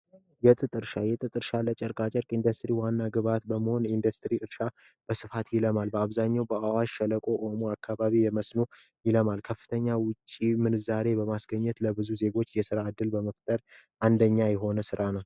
የጥጥ እርሻ የጥጥ እርሻ ለጨርቃ ጨርቅ ኢንደስትሪ ዋና ግብዓት በመሆን የኢንዱስትሪ እርሻ ልማት ለማልማት በተለይ በአብዛኛው በስምጥ ሸለቆ አካባቢ በመስኖ ይለማል ይህም የውጭ ምንዛሬ በማስገኘት የስራ እድል በመፍጠር አንደኛ የሆነ ስራ ነው።